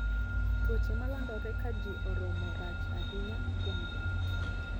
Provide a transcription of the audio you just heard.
Tuoche malandore ka jii oromo rach ahinya kuom joot